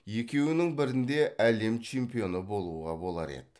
екеуінің бірінде әлем чемпионы болуға болар еді